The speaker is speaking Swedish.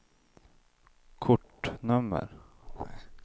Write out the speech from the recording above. kortnummer